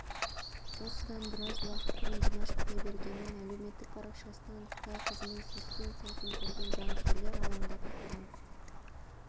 осыдан біраз уақыт бұрын димаш құдайбергеннің әлеуметтік парақшасынан қытай қызымен сүйіскен сәтін көрген жанкүйерлер алаңдап қалған